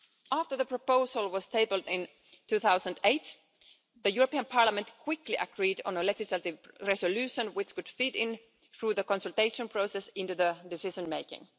After the proposal was tabled in 2008, the European Parliament quickly agreed on a legislative resolution which would feed, through the consultation process, into the decision-making.